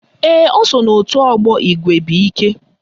Ee, o so n'òtù ọgbọ Igwebuike